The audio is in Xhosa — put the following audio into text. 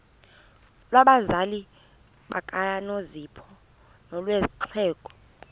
lwabazali bakanozpho nolwexhego